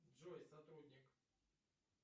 джой сотрудник